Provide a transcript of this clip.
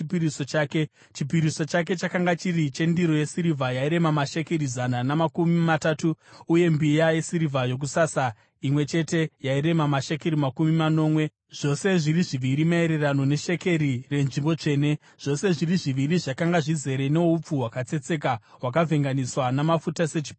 Chipiriso chake chakanga chiri chendiro yesirivha yairema mashekeri zana namakumi matatu, uye mbiya yesirivha yokusasa imwe chete yairema mashekeri makumi manomwe zvose zviri zviviri maererano neshekeri renzvimbo tsvene, zvose zviri zviviri zvakanga zvizere noupfu hwakatsetseka hwakavhenganiswa namafuta sechipiriso chezviyo,